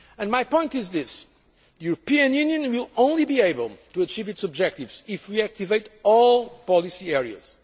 My point is this the European Union will only be able to achieve its objectives if we activate all policy